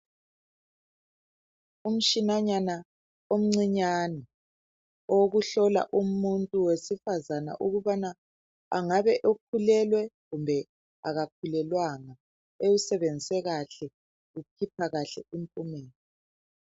Kukhona umtshini omcane owokuhlola abesifazana ukuthi bakhulelwe loba abakhulelwanga. Uma usetshenziswe kahle ukhiphe impumela eqondileyo.